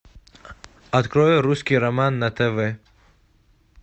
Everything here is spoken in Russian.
открой русский роман на тв